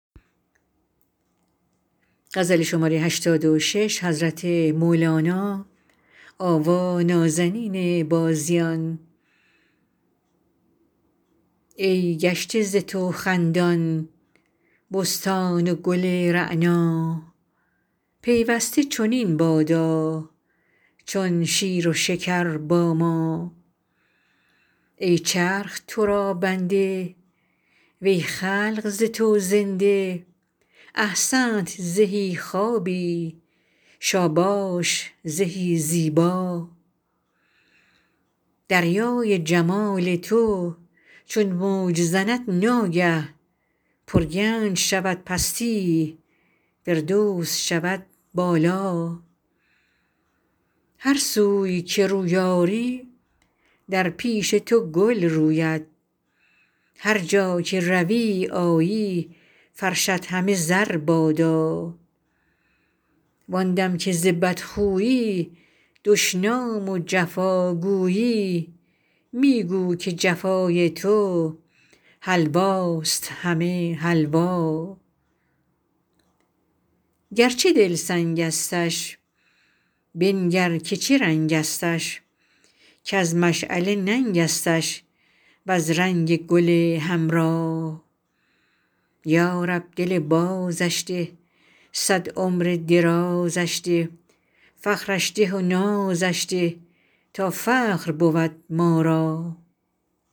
ای گشته ز تو خندان بستان و گل رعنا پیوسته چنین بادا چون شیر و شکر با ما ای چرخ تو را بنده وی خلق ز تو زنده احسنت زهی خوابی شاباش زهی زیبا دریای جمال تو چون موج زند ناگه پرگنج شود پستی فردوس شود بالا هر سوی که روی آری در پیش تو گل روید هر جا که روی آیی فرشت همه زر بادا وان دم که ز بدخویی دشنام و جفا گویی می گو که جفای تو حلواست همه حلوا گرچه دل سنگستش بنگر که چه رنگستش کز مشعله ننگستش وز رنگ گل حمرا یا رب دل بازش ده صد عمر درازش ده فخرش ده و نازش ده تا فخر بود ما را